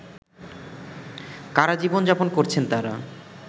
কারাজীবন যাপন করছেন তারা